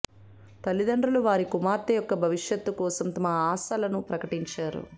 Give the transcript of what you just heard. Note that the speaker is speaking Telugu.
తల్లిదండ్రులు వారి కుమార్తె యొక్క భవిష్యత్తు కోసం తమ ఆశలను ప్రకటించరు